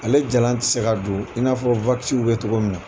Ale jalan tɛ se ka don in n'afɔ bɛ cogo min na.